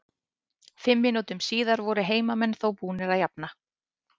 Fimm mínútum síðar voru heimamenn þó búnir að jafna.